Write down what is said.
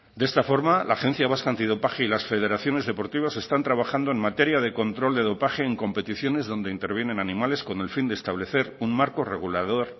de esta forma la agencia vasca antidopaje y las federaciones deportivas están trabajando en materia de control de dopaje en competiciones donde intervienen animales con el fin de establecer un marco regulador